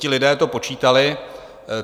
Ti lidé to počítali.